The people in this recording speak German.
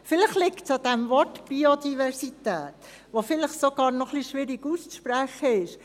Vielleicht liegt es am Wort Biodiversität, das vielleicht noch etwas schwierig auszusprechen ist.